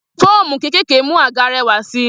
Foómú kékèké mú àga réwà sí.